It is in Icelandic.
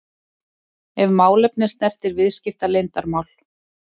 ef málefni snertir viðskiptaleyndarmál.